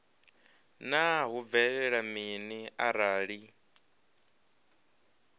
naa hu bvelela mini arali